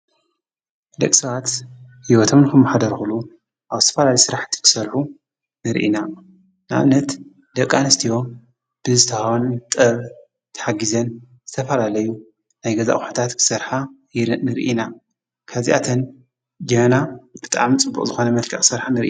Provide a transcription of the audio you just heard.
ደቂ ሰባት ሂወቶም ክንመሓድሩሉ ኣብ ዝተፈላለዩ ስራሕቲ ንክሰርሑ ንሪኢ ኢና ።ንኣብነት ፦ደቂ ኣንስትዮ ንዝተወሃበን ጥበብ ተሓጊዘን ዝተፈላለዩ ዓይነታት ኣቁሑታት ክሰርሓ ንሪኢ ኢና። ካብዚኣተን ጀበና ብጣዕሚ ፅቡቅ ዝኮነ መልክዕ ክሰርሓ ንሪኢ።